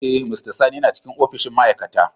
Eh, mr sani yana cikin opishin ma'aikata.